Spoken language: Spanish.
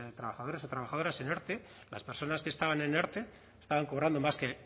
trabajadores o trabajadoras en erte las personas que estaban en erte estaban cobrando más que